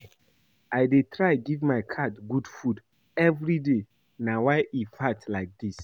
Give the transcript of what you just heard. I dey try give my cat good food everyday na why e fat like dat